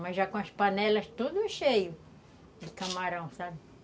Mas já com as panelas todas cheias de camarão, sabe?